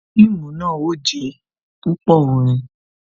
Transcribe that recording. Fíìmù náà ó jé púpò orin